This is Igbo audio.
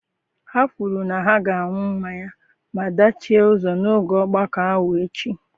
Ha kwuru na ha ga-aṅụ mmanya maa dachie ụzọ n’oge ogbako ahụ echi.